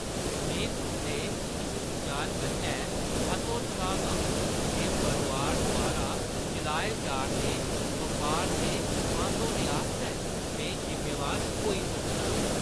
में तुंʼदे इस बिचार कन्नै हतोत्साहत आं जे परोआर द्वारा चलाए जा 'रदे बपार दे बंद होने आस्तै में जिम्मेवार होई सकनां।